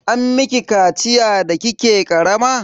An miki kaciya da kike karama?